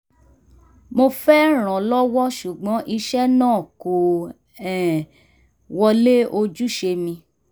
mo fẹ́ rànlọ́wọ́ ṣùgbọ́n iṣẹ́ náà kò um wọlé ojúṣe mi